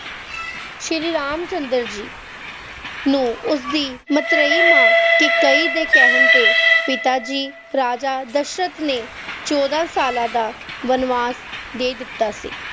ਸ਼ਰੀਰੀ ਰਾਮ ਚੰਦਰ ਜੀ ਨੂੰ ਉਸ ਦੀ ਮਤ੍ਰੀਈ ਮਾਂ ਕੇਕਈ ਦੇ ਕਹਿਣ ਤੇ ਪਿਤਾਜੀ ਰਾਜਾ ਦਸ਼ਰਥ ਨੇ ਚੌਦਾਂ ਸਾਲਾਂ ਦਾ ਵਣਵਾਸ ਦੇ ਦਿੱਤਾ ਸੀ